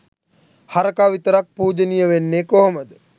හරකා විතරක් පූජනීය වෙන්නේ කොහොමද